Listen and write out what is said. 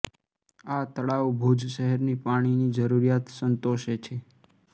આ તળાવ ભુજ શહેરની પાણીની જરુરિયાત સંતોષે છે